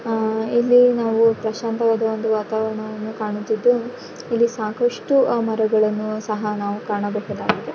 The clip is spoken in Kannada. ಆಹ್ಹ್ ಇಲ್ಲಿ ನಾವು ಪ್ರಶಾಂತವಾದ ಒಂದು ವಾತಾವರಣವನ್ನು ಕಾಣುತಿದ್ದು ಇಲ್ಲಿ ಸಾಕಷ್ಟು ಮರಗಳನ್ನು ಸಹ ನಾವು ಕಾಣಬಹುದಾಗಿದೆ.